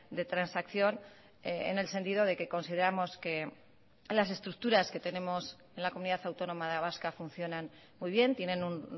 de transacción en el sentido de que consideramos que las estructuras que tenemos en la comunidad autónoma vasca funcionan muy bien tienen un